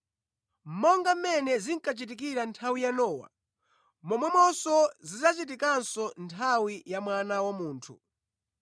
“Monga mmene zinkachitikira nthawi ya Nowa, momwemonso zidzachitikanso nthawi ya Mwana wa Munthu.